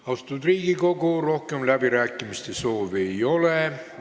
Austatud Riigikogu, rohkem läbirääkimiste soovi ei ole.